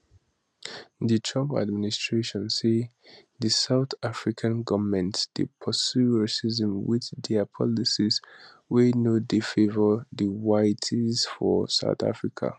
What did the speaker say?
di trump administration say di south african goment dey pursue racism wit dia policies wey no dey favour diwhites for south africa